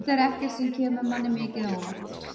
Þetta er ekkert sem kemur manni mikið á óvart.